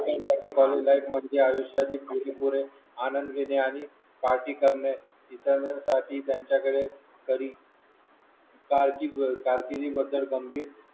life म्हणजे आयुष्यच पुरी पुरे आनंद घेणे आणि पार्टी करणे मित्रांसाठी त्यांच्याकडे कधी गंभीर